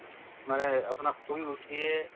মানে এই আপোনাৰ শুই উঠিয়ে